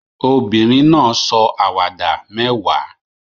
Obìnrin náà sọ àwàdà mẹ́wàá